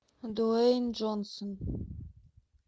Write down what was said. дуэйн джонсон